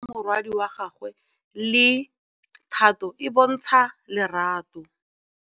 Bontle a re kamanô ya morwadi wa gagwe le Thato e bontsha lerato.